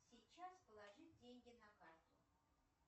сейчас положить деньги на карту